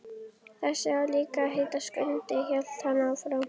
Þessi á líka að heita Skundi, hélt hann áfram.